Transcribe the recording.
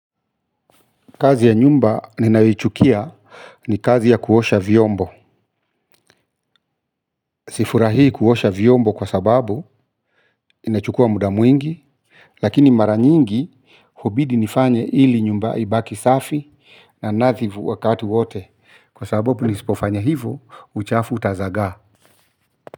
Kazi ya nyumba ninayoichukia ni kazi ya kuosha vyombo sifurahi kuosha vyombo kwa sababu inachukua mda mwingi lakini mara nyingi ubidi nifanye hili nyumba ibaki safi na nadhivu wakati wote kwa sababu nisipofanya hivo uchafu utazaga.